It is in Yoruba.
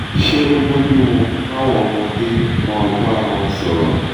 ṣé ó bọ́ju mu káwọn ọmọdé máa bá ara wọn sọ̀rọ̀?